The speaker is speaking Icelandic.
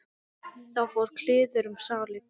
Þá fór kliður um salinn.